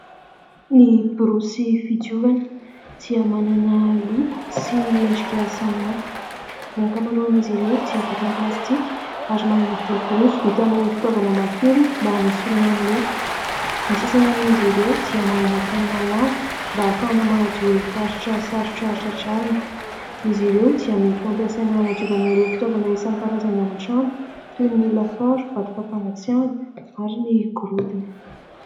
Ny borosy fidiovana dia manana loko sy endrika samihafa. Ny ankamaroan' izy ireo dia vita amin' ny plastika ary manana volo-borosy vita amin' ny fitaovana mafiorina mba hanesorana ny loto. Ny sasany amin' izy ireo dia manana tanana lava mba ahafahana manadio ireo faritra sarotra tratrarina. Izy ireo dia mety ho ampiasaina hanadiovana ireo fitaovana isankarazany ao an-trano toy ny lafaoro, vata fampangatsiahana ary ny gorodona.